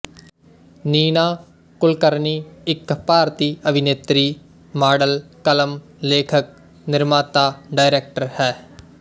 ਨੀਨਾ ਕੁਲਕਰਨੀ ਇੱਕ ਭਾਰਤੀ ਅਭਿਨੇਤਰੀ ਮਾਡਲ ਕਲਮ ਲੇਖਕ ਨਿਰਮਾਤਾ ਡਾਇਰੈਕਟਰ ਹੈ